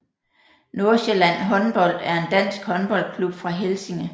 Nordsjælland Håndbold er en dansk håndboldklub fra Helsinge